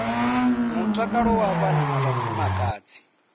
mutakalo wa vhana na vhafumakadzi